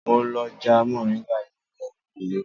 Mo lọ já moringa ní ẹ̀yìnkùlé